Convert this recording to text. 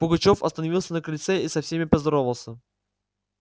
пугачёв остановился на крыльце и со всеми поздоровался